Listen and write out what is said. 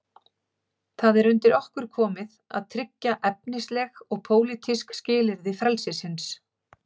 Það er undir okkur komið að tryggja efnisleg og pólitísk skilyrði frelsisins.